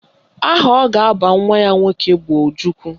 Aha ọ ga-aba nwa ya nwoke bụ Ojukwu